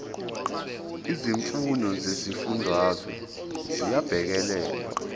izimfuno zezifundazwe ziyabhekelelwa